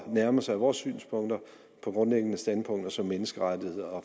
nærme sig vores synspunkter på grundlæggende standpunkter som menneskerettigheder